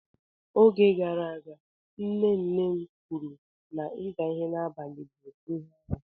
Oge gara aga nne nne kwuru na ịza ihe n'abalị bụ ihe aru.